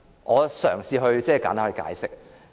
我嘗試簡單解釋。